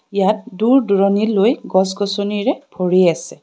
ইয়াত দুৰ দূৰণিলৈ গছ গছনীৰে ভৰি আছে.